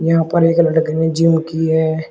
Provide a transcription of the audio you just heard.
यहां पर एक लड़के ने जिम की है।